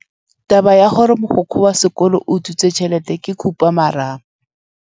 Taba ya gore mogokgo wa sekolo o utswitse tšhelete ke khupamarama.